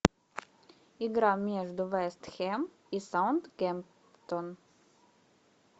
игра между вест хэм и саутгемптон